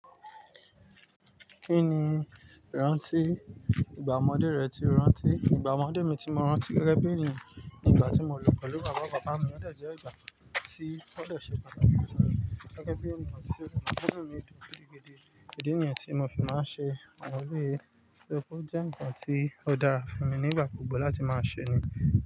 Kí ni ìrántí ìgbà ọmọdé rẹ ti o rántí? Ìgbà ọmọdé mi tí mo rántí gẹ́gẹ́ bí i eníyan nìgbà tí mo lọ pẹ̀lú bàbá bàbá mi ọ̀ dè jẹ́ ìgbà tí ó dè ṣe pàtàkì fún mi gẹ́gẹ́ bí eníyan rántí rẹ̀ nítorí pé nínú ètò gidigidi, idí nìyẹn tí mo fi máa ń ṣe àwọn eléyìí. Ó jẹ́ ǹkan tí ó dára fún mi nígbà gbogbo láti máa ṣe ni.